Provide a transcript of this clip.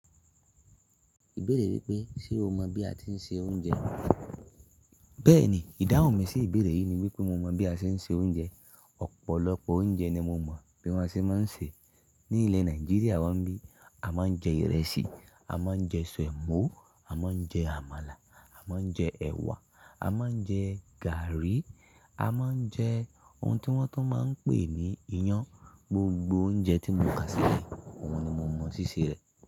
Ìbéèrè wípé, ṣe o mọ bí a tí ń se oúnjẹ? Bẹ́ẹ̀ni, ìdáhùn mi sí ìbéèrè yìí ni wípé mo mọ bí a ṣe ń se oúnjẹ. Ọ̀pọ̀lọpọ̀ oúnjẹ ni mo mọ bí wón ṣe máa ń se. Ní ilẹ̀ Nàìjíríà wón bí, a máa ń jẹ ìrẹsì, a máa ń jẹ sọ̀mọ́, a máa ń jẹ àmàlà, a máa ń jẹ ẹ̀wà, a máa ń jẹ gaàrí, a máa ń jẹ ohun tí wọ́n tún máa ń pè ní iyán. Gbogbo oúnjẹ tí mo kà sí le yìí, òun ni mo mọ ṣíṣe rẹ̀.